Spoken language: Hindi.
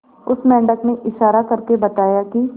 उस मेंढक ने इशारा करके बताया की